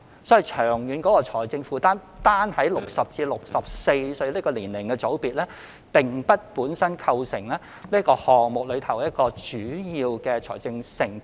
所以，就長遠的財政負擔而言，單單60歲至64歲的年齡組別並不會對這措施構成主要的長遠財政承擔。